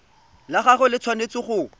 la gagwe le tshwanetse go